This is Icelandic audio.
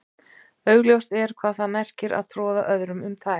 augljóst er hvað það merkir að troða öðrum um tær